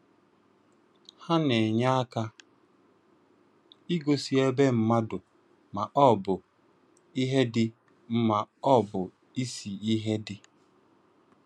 Ha na-enye aka ịgosị ebe mmadụ ma ọ bụ ihe dị, ma ọ bụ isi ihe dị.